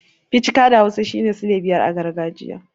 Ficika' da hausa shine sile biyar a gargajiya.